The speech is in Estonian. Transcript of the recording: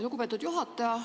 Lugupeetud juhataja!